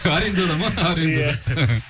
арендада ма аренда иә